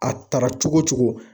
A tara cogo cogo